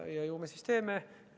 Ja ju me siis teeme.